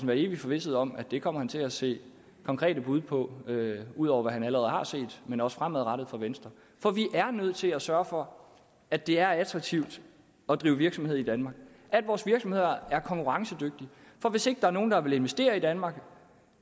være evig forvisset om at det kommer han til at se konkrete bud på ud over hvad han allerede har set men også fremadrettet fra venstre for vi er nødt til at sørge for at det er attraktivt at drive virksomhed i danmark at vores virksomheder er konkurrencedygtige for hvis ikke der er nogen der vil investere i danmark